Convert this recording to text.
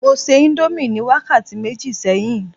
mo se indomie mi ni wakati meji sẹyìn